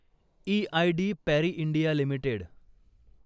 EID Parry India limited